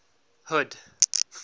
hood